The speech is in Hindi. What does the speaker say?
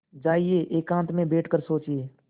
जाइए एकांत में बैठ कर सोचिए